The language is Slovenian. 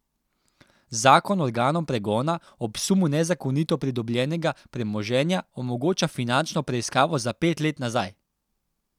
Zakon organom pregona ob sumu nezakonito pridobljenega premoženja omogoča finančno preiskavo za pet let nazaj.